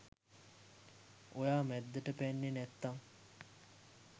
ඔයා මැද්දට පැන්නෙ නැත්තං